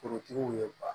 Forotigiw ye ba